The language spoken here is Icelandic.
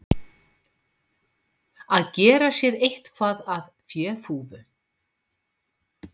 Að gera sér eitthvað að féþúfu